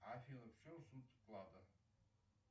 афина в чем суть вклада